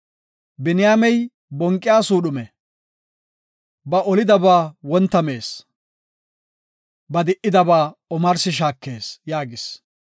“Biniyaamey bonqiya suudhume; ba olidaaba wonta mees; ba di77idabaa omarsi shaakees” yaagis.